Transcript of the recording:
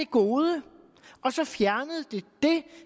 gode og så fjernet det